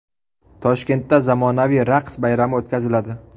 Toshkentda zamonaviy raqs bayrami o‘tkaziladi.